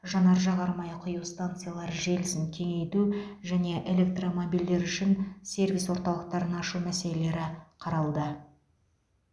жанар жағармай құю станциялары желісін кеңейту және электромобильдер үшін сервис орталықтарын ашу мәселелері қаралды